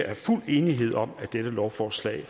er fuld enighed om at dette lovforslag